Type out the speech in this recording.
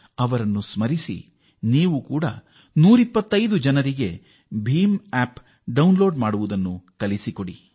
ಅವರನ್ನು ಸ್ಮರಿಸುತ್ತಾ ನೀವು ಬೀಮ್ ಆಪ್ ಡೌನ್ ಲೋಡ್ ಮಾಡಿಕೊಳ್ಳಲು 125 ಜನರಿಗೆ ತಿಳಿಸಿಕೊಡಿ